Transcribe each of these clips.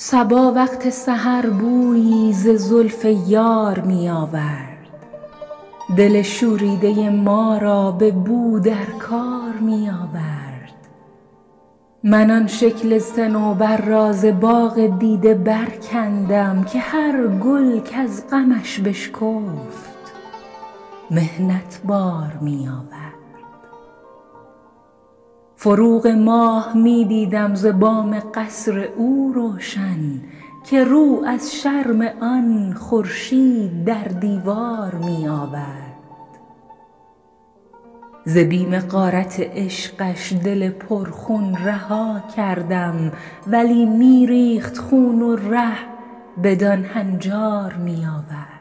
صبا وقت سحر بویی ز زلف یار می آورد دل شوریده ما را به نو در کار می آورد من آن شکل صنوبر را ز باغ دیده برکندم که هر گل کز غمش بشکفت محنت بار می آورد فروغ ماه می دیدم ز بام قصر او روشن که رو از شرم آن خورشید در دیوار می آورد ز بیم غارت عشقش دل پرخون رها کردم ولی می ریخت خون و ره بدان هنجار می آورد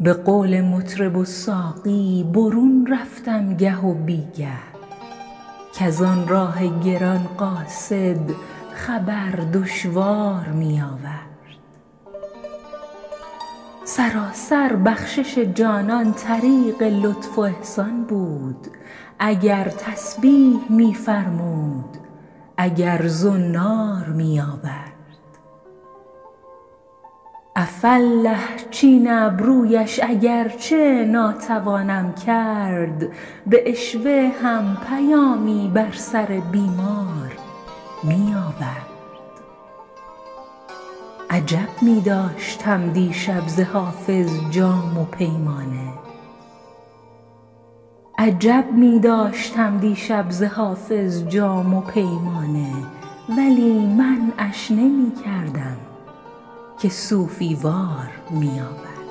به قول مطرب و ساقی برون رفتم گه و بی گه کز آن راه گران قاصد خبر دشوار می آورد سراسر بخشش جانان طریق لطف و احسان بود اگر تسبیح می فرمود اگر زنار می آورد عفاالله چین ابرویش اگر چه ناتوانم کرد به عشوه هم پیامی بر سر بیمار می آورد عجب می داشتم دیشب ز حافظ جام و پیمانه ولی منعش نمی کردم که صوفی وار می آورد